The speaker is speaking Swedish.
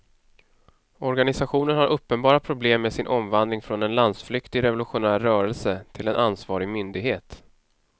Organisationen har uppenbara problem med sin omvandling från en landsflyktig revolutionär rörelse till en ansvarig myndighet.